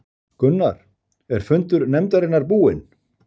Gunnar, er fundur nefndarinnar búinn?